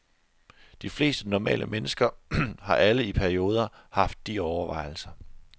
De fleste normale mennesker har alle i perioder haft de overvejelser.